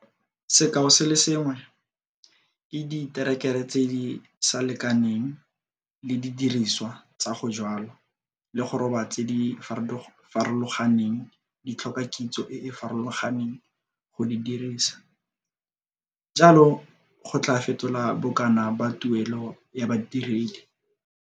Sekao se le sengwe - diterekere tse di sa lekaneng le didiriswa tsa go jwala le go roba tse di farologaneng di tlhoka kitso e e farologaneng go di dirisa - jalo go tlaa fetola bokana ba tuelo ya badiredi.